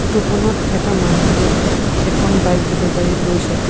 Photo খনত এটা মানুহে এখন বাইক ডিলিভাৰী লৈছে।